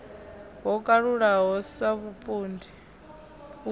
ho kalulaho sa vhupondi u